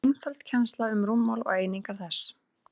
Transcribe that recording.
einföld kennsla um rúmmál og einingar þess